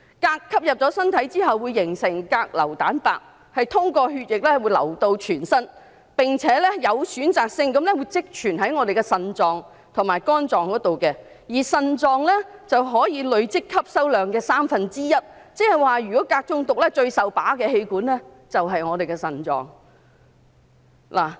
鎘進入身體後，會形成鎘硫蛋白，通過血液到達全身，並且有選擇性地積存於腎臟和肝臟，而腎臟可以累積鎘吸收量的三分之一，也就是說如果鎘中毒，最受損害的器官便是腎臟。